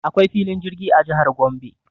Akwai filin jirgi a jihar Gombe.